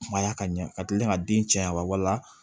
Kumaya ka ɲɛ ka kilen ka den caya walila